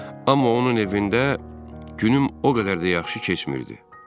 Amma onun evində günüm o qədər də yaxşı keçmirdi.